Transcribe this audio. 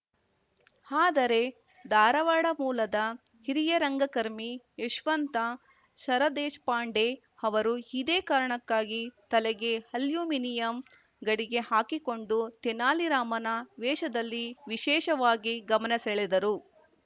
ಆದರೆ ಧಾರವಾಡ ಮೂಲದ ಹಿರಿಯ ರಂಗಕರ್ಮಿ ಯಶವಂತ ಸರದೇಶಪಾಂಡೆ ಅವರು ಇದೇ ಕಾರಣಕ್ಕಾಗಿ ತಲೆಗೆ ಅಲ್ಯುಮಿನಿಯಂ ಗಡಿಗೆ ಹಾಕಿಕೊಂಡು ತೆನಾಲಿ ರಾಮನ ವೇಷದಲ್ಲಿ ವಿಶೇಷವಾಗಿ ಗಮನ ಸೆಳೆದರು